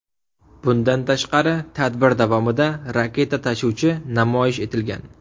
Bundan tashqari, tadbir davomida raketa tashuvchi namoyish etilgan.